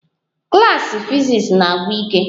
Klas fiziks a na-agwụ ike